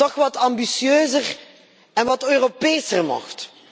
toch wat ambitieuzer en wat Europeser mocht.